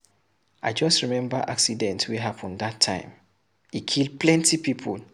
I just remember accident wey happen dat time, e kill plenty people.